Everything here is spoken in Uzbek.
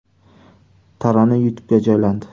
Tarona YouTube’ga joylandi .